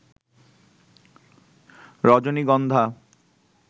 রজনীগন্ধা